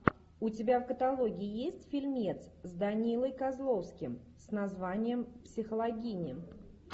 у тебя в каталоге есть фильмец с данилой козловским с названием психологини